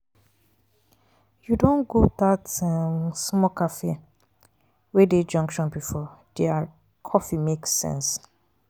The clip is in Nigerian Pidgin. you don go dat um small cafe wey um dey junction before? their um coffee make sense.